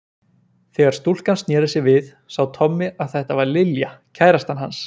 Þegar stúlkan snéri sér við sá Tommi að þetta var Lilja, kærastan hans